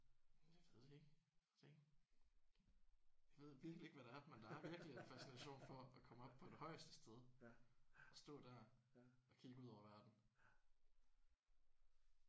Jeg ved det ikke. Ved det ikke. Jeg ved virkelig ikke hvad det er men der er virkelig en fascination for at komme op på det højeste sted og stå der og kigge ud over verden